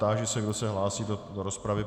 Táži se, kdo se hlásí do rozpravy.